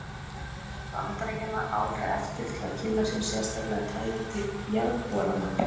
Gunnar fór til Bandaríkjanna árið eftir til að kynna sér sérstaklega tæki til jarðborana.